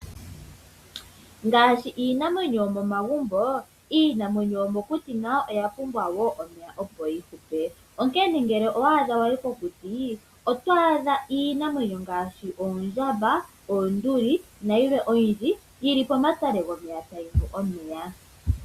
Ngaashi iinamwenyo yo momagumbo, niinamwenyo yo mokuti nayo oya pumbwa wo omeya opo yi kute. Onkene ngele owa hala adha wayi kokuti, oto adha iinamwenyo ngaashi oondjamba, oonduli nayilwe oyindji yili pomatale gomeya tayi nu omeya.